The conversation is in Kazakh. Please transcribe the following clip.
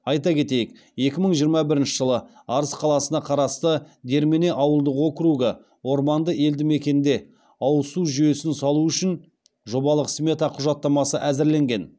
айта кетейік екі мың жиырма бірінші жылы арыс қаласына қарасты дермене ауылдық округі орманды елді мекенінде ауыз су жүйесін салу үшін жобалық смета құжаттамасы әзірленген